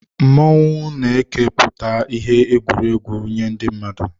Mmọnwụ na eke pụta ìhè egwuregwu nye ndị mmadụ.